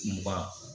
Mugan